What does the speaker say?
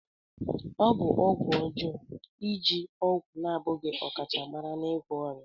Ọ bụ ọgwụ ọjọọ iji ọgwụ na-abụghị ọkachamara n'ịgwọ ọrịa.